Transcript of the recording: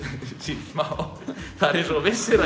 sýnt smá það er eins og þú vissir að